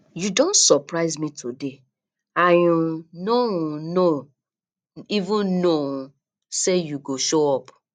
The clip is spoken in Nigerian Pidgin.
you don surprise me today i um no um no even know um say you go show up